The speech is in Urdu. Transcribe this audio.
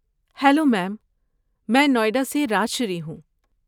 ہیلو میم، میں نوئیڈا سے راج شری ہوں۔